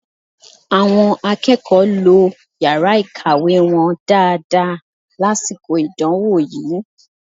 Àwọn akẹ́kọ̀ọ́ lo yàrá ìkàwé wọn dáadáa lásìkò ìdánwò yìí